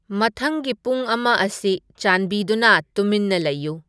ꯃꯊꯪꯒꯤ ꯄꯨꯡ ꯑꯃ ꯑꯁꯤ ꯆꯥꯟꯕꯤꯗꯨꯅ ꯇꯨꯃꯤꯟꯅ ꯂꯩꯌꯨ